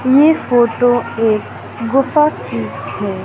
ये फोटो एक गुफा की है।